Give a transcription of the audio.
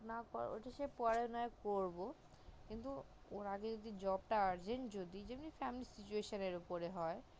না ওটা কে পরে না করবো কিন্তু ওর আগে job টা argent যদি যেমন তা তেমন season উপর হয়